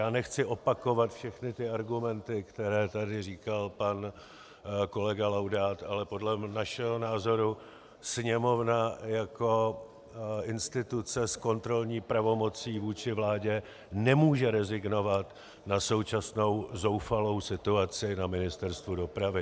Já nechci opakovat všechny ty argumenty, které tady říkal pan kolega Laudát, ale podle našeho názoru Sněmovna jako instituce s kontrolní pravomocí vůči vládě nemůže rezignovat na současnou zoufalou situaci na Ministerstvu dopravy.